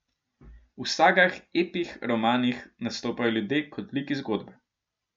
V sagah, epih, romanih nastopajo ljudje kot liki zgodbe.